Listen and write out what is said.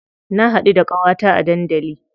Na haɗu da ƙawata a dandali.